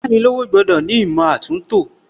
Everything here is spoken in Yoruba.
Ayánilówó gbọ́dọ̀ ní ìmọ̀ àtúntò